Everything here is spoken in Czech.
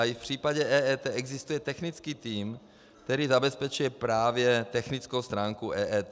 A i v případě EET existuje technický tým, který zabezpečuje právě technickou stránku EET.